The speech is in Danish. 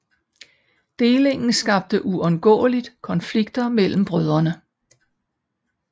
Delingen skabte uundgåeligt konflikter mellem brødrene